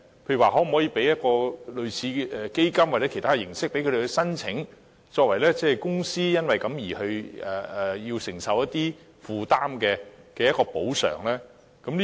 例如可否提供類似基金或其他形式的支援供他們申請，作為公司因為須作出一些承擔而可獲得的補償呢？